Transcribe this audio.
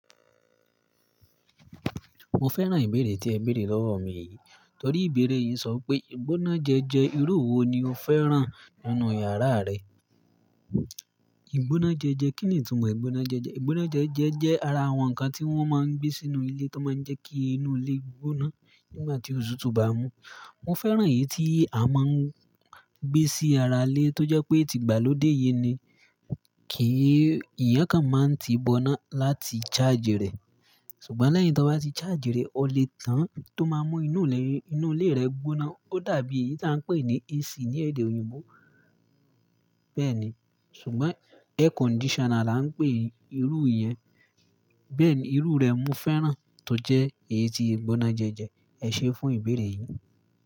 Mo fẹ́ràn ìbéèrè tí ẹ béèrè lọ́wọ́ mi yìí. Torí ìbéèrè yìí ń sọ pé ìgbónájẹjẹẹ irú wo ni o fẹ́ràn nínú yàrá rẹ? Ìgbónájẹjẹẹ, kí ni ìtumọ̀ ìgbónájẹjẹẹ? Ìgbónájẹjẹẹ jẹ́ ara àwọn nǹkan tí wọ́n máa ń gbé sínú ilé tó máa ń jẹ́ kí inú ilé gbóná nígbà tí òtútù tó bá mú. Mo fẹ́ràn èyí tí a máa ń gbé sí ara ilé tó jẹ́ pé tí ìgbà ló dé yìí ni, kí ìyẹn kan máa ti gbóná láti charge rẹ̀. Ṣùgbọ́n lẹ́yìn tó bá ti charge rẹ̀, ó le tàn tó máa mú inú ilé, inú ilé rẹ gbóná. Ó dàbí èyí tí à ń pè ní AC ní èdè òyìnbó bẹ́ẹ̀ ni. Ṣùgbọ́n air conditioner la ń pè irú ìyẹn. Bẹ́ẹ̀ ni, irú rẹ̀ ni mo fẹ́ràn tó jẹ́ èyí tí ìgbónájẹjẹẹ. Ẹ ṣe fún ìbéèrè yìí.